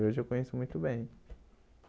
E hoje eu conheço muito bem.